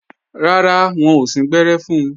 Rárá, wọn ò síngbẹ́rẹ́ fun